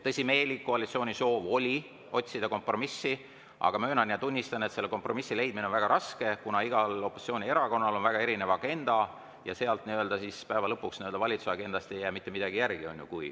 Tõsimeeli oli koalitsioonil soov otsida kompromissi, aga möönan ja tunnistan, et selle kompromissi leidmine on väga raske, kuna igal opositsioonierakonnal on väga erinev agenda ja päeva lõpuks ei jää valitsuse agendast mitte midagi järele.